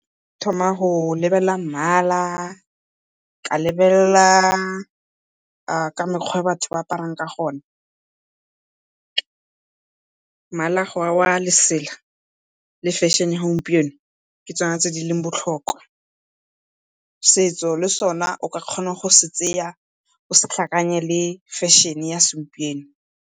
Ke thoma go lebelela mmala ka lebelela ka mekgwa e batho ba aparang ka gona, mmala wa lesela le fashion-e ya gompieno ke tsona tse di leng botlhokwa. Setso le sona o ka kgona go se tseya o se tlhakanye le fashion-e ya segompieno.